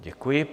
Děkuji.